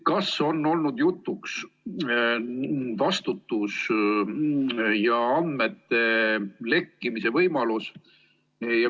Kas on olnud jutuks vastutuse teema ja andmete lekkimise võimalus?